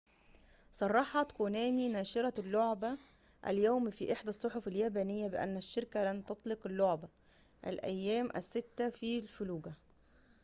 صرحت كونامي ناشرة اللعبة اليوم في إحدى الصحف اليابانية بأن الشركة لن تطلق لعبة االأيام الستة في الفلوجة